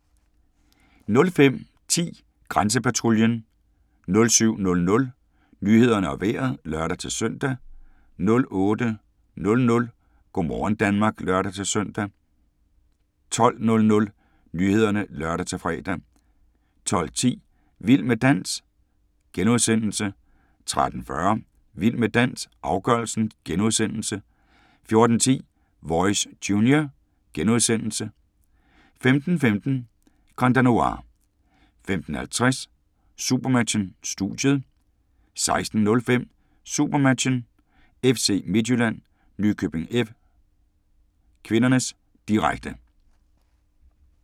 05:10: Grænsepatruljen 07:00: Nyhederne og Vejret (lør-søn) 08:00: Go' morgen Danmark (lør-søn) 12:00: Nyhederne (lør-fre) 12:10: Vild med dans * 13:40: Vild med dans - afgørelsen * 14:10: Voice Junior * 15:15: Grand Danois 15:50: SuperMatchen: Studiet 16:05: SuperMatchen: FC Midtjylland-Nykøbing F. (k), direkte